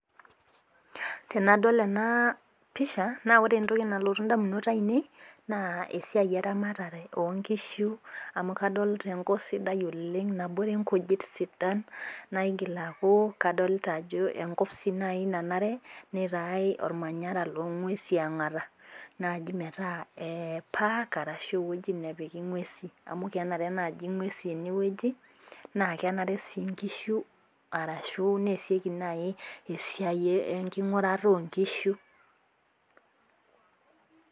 Tenadol enaapisha naore entoki nalotu indamunot ainei na esiai eramatare oonkishu amu adolita enkop sidai oleng nabore ngujit sidan naigil akuu enkop naaji nanare neeku ormanyara longesi yaangata naaji metaa eee(park) Ashu eweji napiki ngwesi, amu kenare ngwesi nenare nkishu Ashu nesieki naaji enkingurata oonkishu